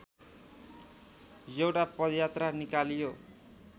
एउटा पदयात्रा निकालियो